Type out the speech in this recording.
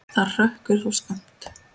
Það hrökkvi þó skammt.